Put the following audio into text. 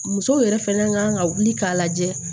Musow yɛrɛ fɛnɛ kan ka wuli k'a lajɛ